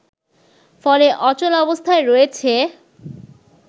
ফলে অচল অবস্থায় রয়েছে